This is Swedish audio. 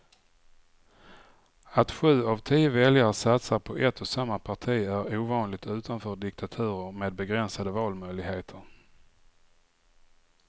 Att sju av tio väljare satsar på ett och samma parti är ovanligt utanför diktaturer med begränsade valmöjligheter.